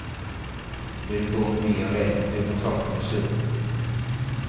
Blir du gående mye alene, begynner tankene å surre.